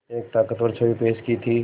एक ताक़तवर छवि पेश की थी